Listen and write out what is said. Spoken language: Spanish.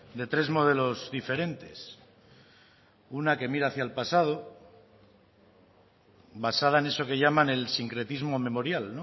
de tres modelos diferentes una que mira hacia el pasado basada en eso que llaman el sincretismo memorial